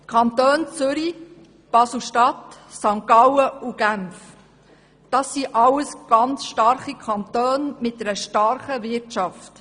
Die Kantone Zürich, Basel-Stadt, St. Gallen und Genf sind alles Kantone mit einer starken Wirtschaft.